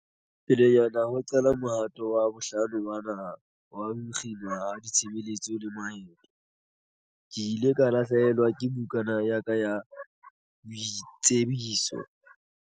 Pelenyana ho qala mohato wa bohlano wa naha wa ho kginwa ha ditshebeletso le maeto, ke ile ka lahlehelwa ke bukana ya ka ya boitsebiso.